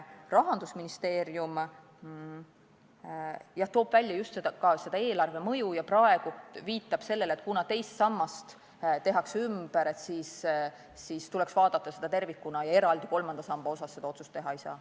Rahandusministeerium toob välja mõju eelarvele ja viitab sellele, et kuna teist sammast tehakse ümber, siis tuleks vaadata süsteemi tervikuna ja eraldi kolmanda samba kohta seda otsust teha ei saa.